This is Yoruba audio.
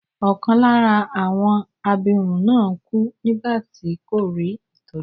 Ọkàn lára àwọn abirùn náà kú nígbà tí kò rí ìtọ́jú.